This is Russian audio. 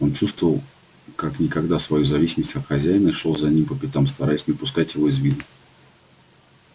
он чувствовал как никогда свою зависимость от хозяина и шёл за ним по пятам стараясь не упускать его из виду